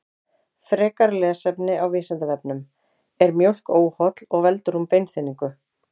Frekara lesefni á Vísindavefnum: Er mjólk óholl og veldur hún beinþynningu?